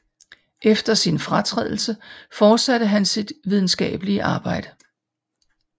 Efter sin fratrædelse fortsatte han sit videnskabelige arbejde